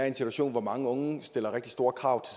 en situation hvor mange unge stiller rigtig store krav